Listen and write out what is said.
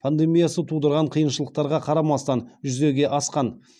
пандемиясы тудырған қиыншылықтарға қарамастан жүзеге асқан